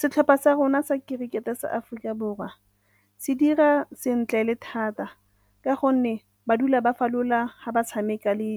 Setlhopha sa rona sa kerikete sa Aforika Borwa se dira sentle le thata ka gonne ba dula ba falola ha ba tshameka le